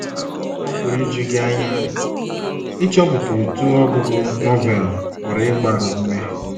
Ọ pụrụ iju gị anya ịchọpụta otú ọgụgụ Novel pụrụ ịgbaru ume.